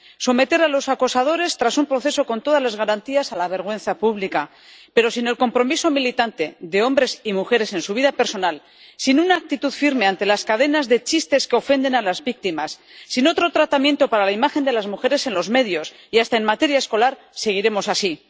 Someter a los acosadores, tras un proceso con todas las garantías, a la vergüenza pública. Pero sin el compromiso militante de hombres y mujeres en su vida personal, sin una actitud firme ante las cadenas de chistes que ofenden a las víctimas, sin otro tratamiento para la imagen de las mujeres en los medios y hasta en materia escolar, seguiremos así.